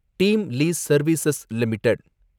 team lease service limited